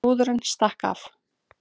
Brúðurin stakk af